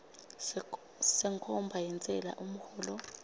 senkhomba yentsela umholo